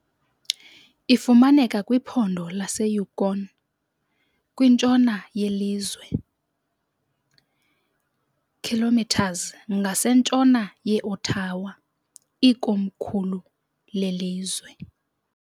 Ifumaneka kwiphondo laseYukon, kwintshona yelizwe, km ngasentshona ye -Ottawa, ikomkhulu lelizwe.